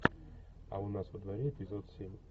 а у нас во дворе эпизод семь